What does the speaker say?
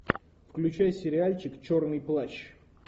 включай сериальчик черный плащ